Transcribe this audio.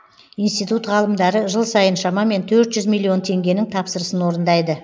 институт ғалымдары жыл сайын шамамен миллион теңгенің тапсырысын орындайды